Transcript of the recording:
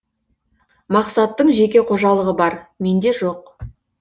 мақсаттың жеке қожалығы бар менде жоқ